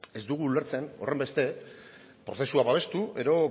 ez dugu ulertzen horrenbeste prozesua babestu edo